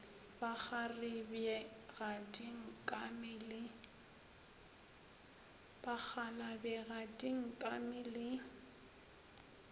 bakgalabje ga di nkame le